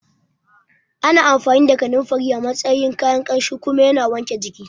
Ana amfani da Kananfari a matsayin kayan Ƙamshi kuma yana wanke jiki